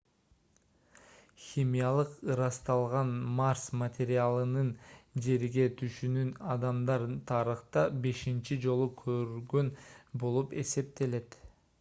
химиялык ырасталган марс материалынын жерге түшүшүн адамдар тарыхта бешинчи жолу көргөн болуп эсептелет